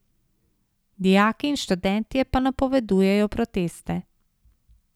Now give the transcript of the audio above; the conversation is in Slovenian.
Dijaki in študentje pa napovedujejo proteste.